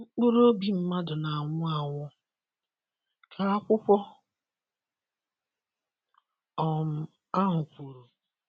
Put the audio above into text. mkpụrụ ọbì mmadụ n'anwụ anwụ, ka akwụkwo um ahụ kwuru